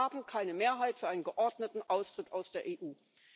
Wir haben keine Mehrheit für einen geordneten Austritt aus der EU.